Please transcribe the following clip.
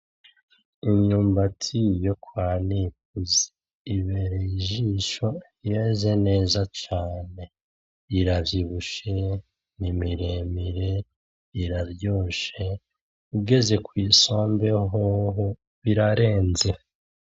Imyumbati yo kwa Nikuze ibereye ijisho. Yeze neza cane. Iravyibushe, ni mire mire, iraryoshe, igeze kw'isombe hoho irarenze.